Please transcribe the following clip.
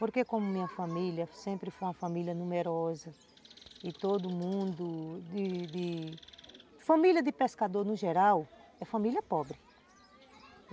Porque como minha família sempre foi uma família numerosa e todo mundo...E, e... Família de pescador, no geral, é família pobre.